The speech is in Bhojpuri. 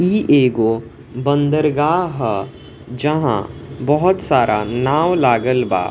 ई एगो बंदरगाह ह जहाँ बहुत सारा नाव लागल बा।